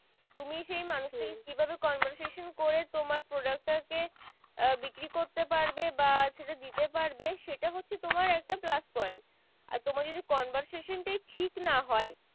তুমি সেই মানুষ তাকে কি ভাবে conversation করে তোমার product টা কে বিক্রি করতে পারবে বা সেটা দিতে পারবে সেটা হচ্ছে তোমার একটা plus point আর তোমার যদি conversation টাই ঠিক না হয়